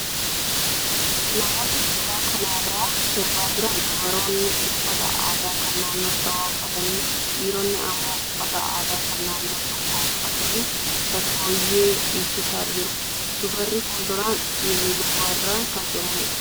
Namoonni suuraa kanarraa sirbaa jiran dubaroonni uffata aadaa kan naannoo shawaa uffatanii, dhiironni immoo uffata aadaa kan naannoo tokkoo uffatanii shaggooyyee dhiichisaa jiru. Dubarri fuulduraan dhiirri duuba irraan kan jiranidha.